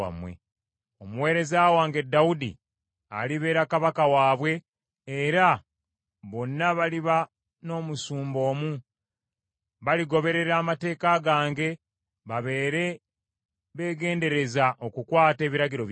“ ‘Omuweereza wange Dawudi alibeera kabaka waabwe, era bonna baliba n’omusumba omu. Baligoberera amateeka gange, babeere beegendereza okukwata ebiragiro byange.